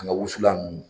An ka wusulan nunnu